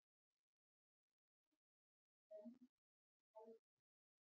Ísland komst áfram